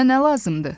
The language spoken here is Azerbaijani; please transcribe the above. Sənə nə lazımdır?